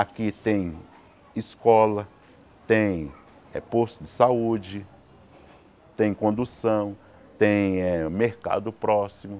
Aqui tem escola, tem eh posto de saúde, tem condução, tem eh mercado próximo.